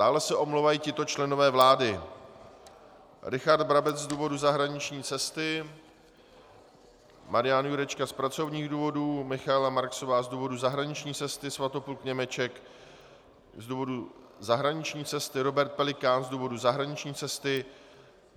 Dále se omlouvají tito členové vlády: Richard Brabec z důvodu zahraniční cesty, Marian Jurečka z pracovních důvodů, Michaela Marksová z důvodu zahraniční cesty, Svatopluk Němeček z důvodu zahraniční cesty, Robert Pelikán z důvodu zahraniční cesty,